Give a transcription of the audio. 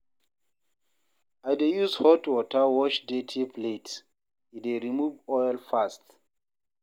I dey use hot water wash dirty plates, e dey remove oil fast.